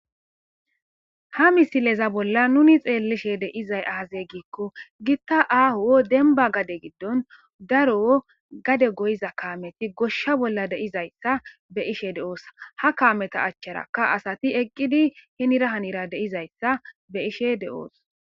ha misileza bolla nuni xeellishe de'izay aaze gikko gitta aaho denba gade giddon daro gade goyiza kaameti goshsha bolla de'izayssa be'ishe de'osa ha kaameta achcharaka asati eqqidi henira hanira de'izayssa be'ishe de'os